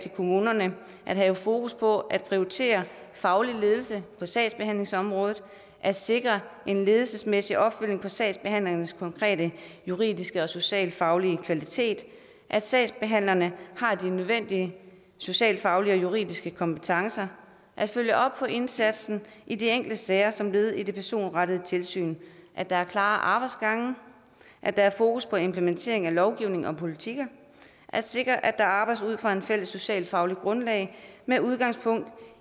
kommunerne at have fokus på at prioritere faglig ledelse på sagsbehandlingsområdet at sikre en ledelsesmæssig opfølgning på sagsbehandlingens konkrete juridiske og socialfaglige kvalitet at sagsbehandlerne har de nødvendige socialfaglige og juridiske kompetencer at følge op på indsatsen i de enkelte sager som led i det personrettede tilsyn at der er klare arbejdsgange at der er fokus på implementering af lovgivning og politikker at sikre at der arbejdes ud fra et fælles socialfagligt grundlag med udgangspunkt